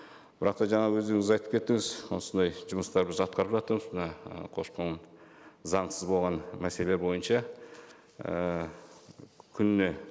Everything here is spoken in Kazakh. бірақ та жаңағы өздеріңіз айтып кеттіңіз осындай жұмыстар біз атқарып жатырмыз мына і көші қон заңсыз болған мәселе бойынша ііі күніне